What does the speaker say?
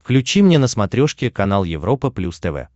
включи мне на смотрешке канал европа плюс тв